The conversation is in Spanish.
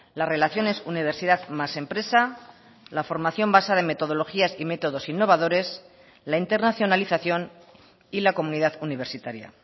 las relaciones universidad más empresa la formación basada en metodologías y métodos innovadores la internacionalización y la comunidad universitaria